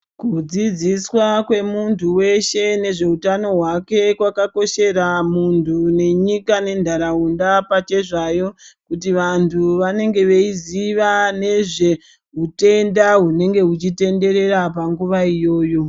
Kudzidziswa kwemuntu weshe nezveutano hwake kwakakoshera muntu nenyika nentaraunda pachezvayo kuti vantu vanenge veiziva nezveutenda hunenge hweitenderera panguwa iyoyo.